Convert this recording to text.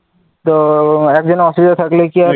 তো একজনের অসুবিধা থাকলে কি আর